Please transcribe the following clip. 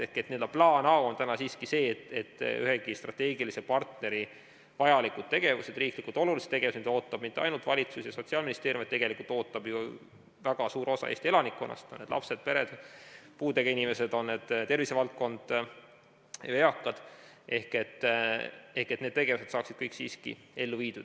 Ehk plaan A on täna siiski see, et iga strateegilise partneri vajalikud tegevused, riiklikult olulised tegevused, mida ootavad mitte ainult valitsus ja Sotsiaalministeerium, vaid tegelikult ootab ju väga suur osa Eesti elanikkonnast, on need siis lapsed, pered, puudega inimesed, on need siis tervisevaldkond ja eakad, saaksid kõik siiski ellu viidud.